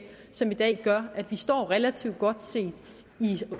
som i dag gør at vi står relativt godt set i